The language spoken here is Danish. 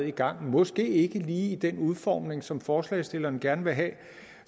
i gang måske ikke lige i den udformning som forslagsstillerne gerne vil have